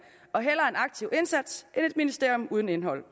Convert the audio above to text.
og hellere en aktiv indsats end et ministerium uden indhold